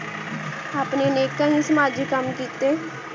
ਅਪਨੀ ਨਿਖ ਹੁਣ ਸਮਾਜੀ ਕਾਮ ਕਿਤੇ